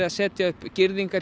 að setja upp girðingar